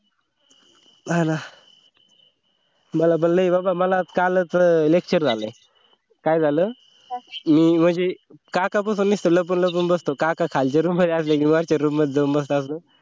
हा ना मला पण नाही मला कालच lecture झालंय काय झालं मी म्हणजे काकापासून नुसतं लपून लपून बसतो काका खालचा रूम मध्ये असले की मागच्या रूम मध्ये जाऊन बसा